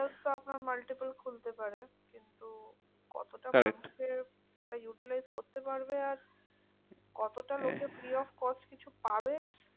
আপনার multiple খুলতে পারে, কিন্তু কতটা correct মানুষে ওটা utilize করতে পারবে? আর কতটা লোকে free of cost কিছু পাবে?